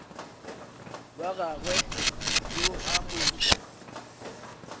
wa gagwe yo a mo